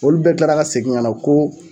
Olu bɛɛ tilara ka segin ŋana ko